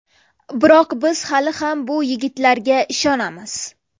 Biroq biz hali ham bu yigitlarga ishonamiz.